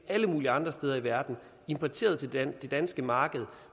alle mulige andre steder i verden importeret til det danske marked